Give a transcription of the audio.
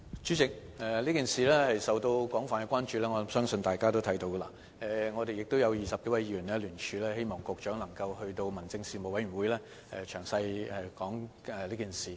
主席，我相信大家都看到，此事已受到廣泛的關注，而20多位議員亦已聯署，希望局長能夠在民政事務委員會上詳細交代此事。